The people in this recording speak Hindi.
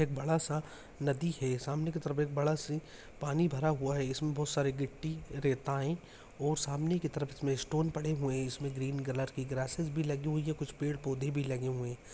एक बड़ा सा नदी है सामने की तरफ एक बड़ा सा पानी भड़ा हुआ है इसमे बहुत सारा गिट्टी रेताएं और सामने की तरफ इसमे स्टोन पड़े हुए है इसमे ग्रीन कलर की ग्राससेज भी लगी हुई है कुछ पेड़ पौधे भी लगे हुए है।